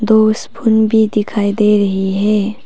दो स्पून भी दिखाई दे रहे है।